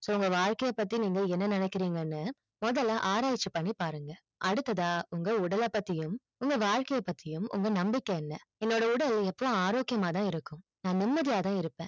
so உங்க வாழ்க்கை பத்தி என்ன நினைக்கிறிங்கனு முதல ஆராய்ச்சி பண்ணி பாருங்க அடுத்ததா உங்க உடலை பத்தியும் உங்க வாழ்க்கை பத்தியும் உங்க நம்பிக்கை என்ன என்னோட உடல் எவ்ளோ ஆரோக்கியமா தான் இருக்கும் நான் நிம்மதியா தான் இருப்பன்